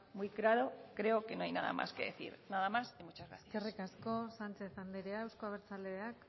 muy claro creo que no hay nada más que decir nada más y muchas gracias eskerrik asko sánchez andrea euzko abertzaleak